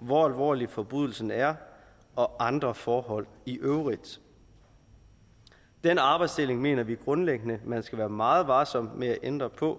hvor alvorlig forbrydelsen er og andre forhold i øvrigt den arbejdsdeling mener vi grundlæggende man skal være meget varsom med at ændre på